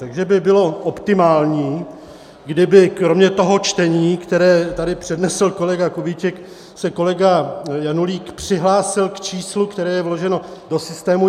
Takže by bylo optimální, kdyby kromě toho čtení, které tady přednesl kolega Kubíček, se kolega Janulík přihlásil k číslu, které je vloženo do systému.